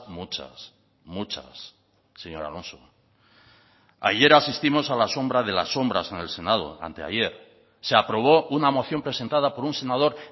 muchas muchas señor alonso ayer asistimos a la sombra de las sombras en el senado anteayer se aprobó una moción presentada por un senador